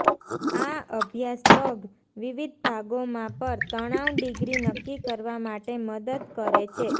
આ અભ્યાસ પગ વિવિધ ભાગોમાં પર તણાવ ડિગ્રી નક્કી કરવા માટે મદદ કરે છે